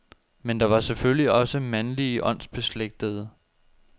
Men der var selvfølgelig også mandlige åndsbeslægtede.